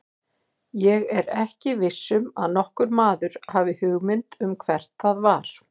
Ég er ekki viss um að nokkur maður hafi hugmynd um hvert það var.